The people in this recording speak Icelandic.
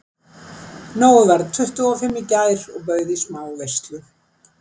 Nói varð tuttugu og fimm í gær og bauð í smá veislu.